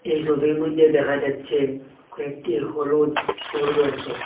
এই সবির মধ্যে দেখা যাচ্ছে কয়েকটি হলুদ ফুল রয়েসে।